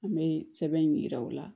An bɛ sɛbɛn in yira u la